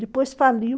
Depois faliu.